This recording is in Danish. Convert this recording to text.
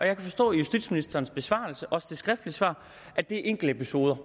jeg forstå af justitsministerens besvarelse også af det skriftlige svar at det er enkeltepisoder